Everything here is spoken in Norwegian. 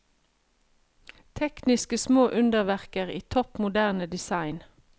Tekniske små underverker i topp moderne design.